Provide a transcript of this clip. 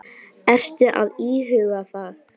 Ertu að íhuga það?